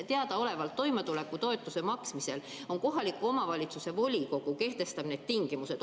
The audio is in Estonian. Teadaolevalt toimetuleku toetuse maksmisel kohaliku omavalitsuse volikogu kehtestab need tingimused.